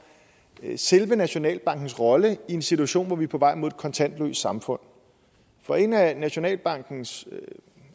selve nationalbankens rolle i en situation hvor vi er på vej mod et kontantløst samfund for en af nationalbankens